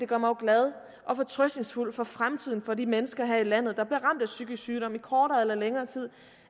gør mig glad og fortrøstningsfuld for fremtiden for de mennesker her i landet der bliver ramt af psykisk sygdom i kortere eller længere tid